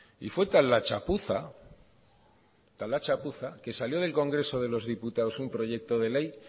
y fue tal la chapuza que salió del congreso de los diputados un proyecto de ley